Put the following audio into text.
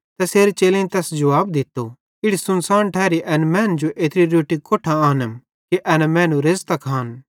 तैसेरे चेलेईं तैस जुवाब दित्तो इड़ी सुनसान ठैरी एन मैनन् जो एत्री रोट्टी कोट्ठां आनम कि एन मैनू रेज़तां खान